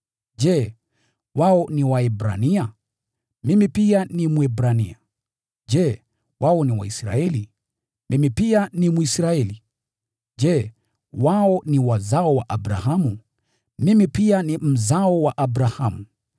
Je, wao ni Waebrania? Mimi pia ni Mwebrania. Je, wao ni Waisraeli? Mimi pia ni Mwisraeli. Je, wao ni wazao wa Abrahamu? Mimi pia ni mzao wa Abrahamu.